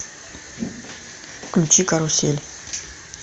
включи карусель